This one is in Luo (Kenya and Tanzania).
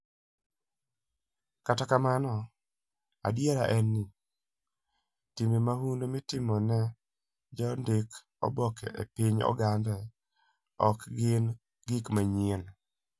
Kata kamano, adiera en ni, timbe mahundu mitimo ne jondik oboke e piny Ogande ok gin gik manyien.